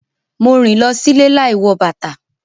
Mo rìn lọ sílé láì wọ bàtà.